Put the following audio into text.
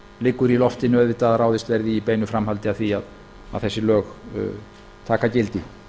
liggur í loftinu auðvitað að ráðist verði í í beinu framhaldi af því að þessi lög taka gildi